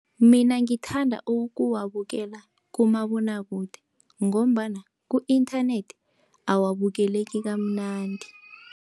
Mina ngithanda ukuwabukela kumabonwakude, ngombana ku-inthanethi awabukeleki kamnandi.